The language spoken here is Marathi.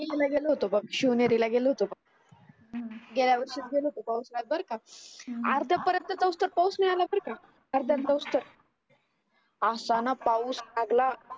गेलो होतो बघ शिवनेरीला गेलो होतो बघ गेल्या वर्षीच गेलो होतो पाऊसात बर का अर्द्या पर्यंत पाऊस तर पाऊस मिळालं बर का अर्द्या पाऊस असा ना पाऊस लागला